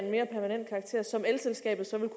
stillet